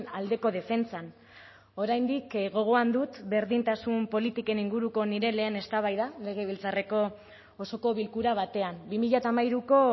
aldeko defentsan oraindik gogoan dut berdintasun politiken inguruko nire lehen eztabaida legebiltzarreko osoko bilkura batean bi mila hamairuko